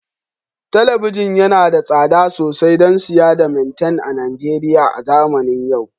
Talabijin yana da tsada sosai don siya da maitian a Najeriya a zamanin yau